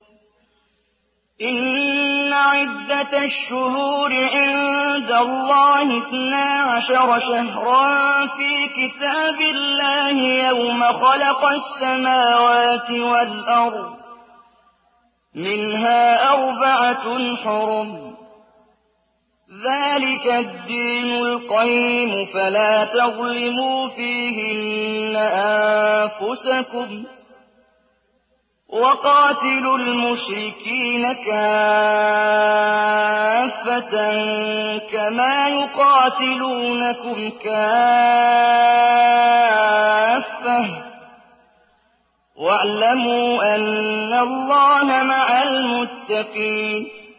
إِنَّ عِدَّةَ الشُّهُورِ عِندَ اللَّهِ اثْنَا عَشَرَ شَهْرًا فِي كِتَابِ اللَّهِ يَوْمَ خَلَقَ السَّمَاوَاتِ وَالْأَرْضَ مِنْهَا أَرْبَعَةٌ حُرُمٌ ۚ ذَٰلِكَ الدِّينُ الْقَيِّمُ ۚ فَلَا تَظْلِمُوا فِيهِنَّ أَنفُسَكُمْ ۚ وَقَاتِلُوا الْمُشْرِكِينَ كَافَّةً كَمَا يُقَاتِلُونَكُمْ كَافَّةً ۚ وَاعْلَمُوا أَنَّ اللَّهَ مَعَ الْمُتَّقِينَ